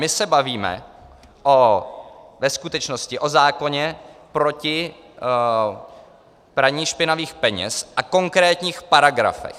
My se bavíme ve skutečnosti o zákoně proti praní špinavých peněz a konkrétních paragrafech.